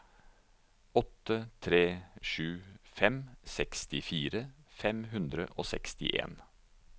åtte tre sju fem sekstifire fem hundre og sekstien